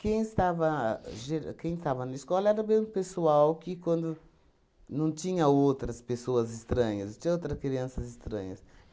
Quem estava ger quem estava na escola era o mesmo pessoal que quando não tinha outras pessoas estranhas, não tinha outra crianças estranhas.